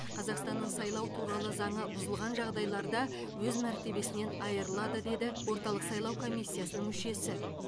қазақстынның сайлау туралы заңы бұзылған жағдайларда өз мәртебесінен айырылады деді орталық сайлау комиссиясының мүшесі